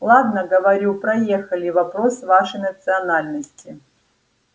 ладно говорю проехали вопрос вашей национальности